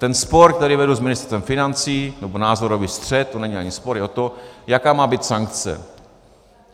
Ten spor, který vedu s Ministerstvem financí, nebo názorový střet, to není ani spor, je o to, jaká má být sankce.